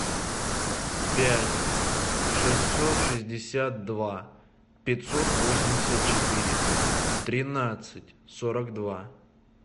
пять шестьсот шестьдесят два пятьсот восемьдесят четыре тринадцать сорок два